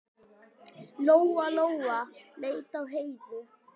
Lóa-Lóa leit á Heiðu.